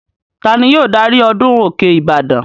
Ta ni yóò darí ọdún òkè ìbàdàn?